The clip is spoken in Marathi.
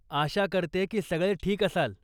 आशा करते की सगळे ठीक असाल.